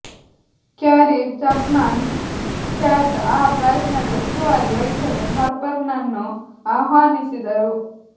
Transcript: carry Chapman Catt ಆ ಪ್ರಯತ್ನದ ಉಸ್ತುವಾರಿ ವಹಿಸಲು ಹಾರ್ಪರ್ನನ್ನು ಆಹ್ವಾನಿಸಿದರು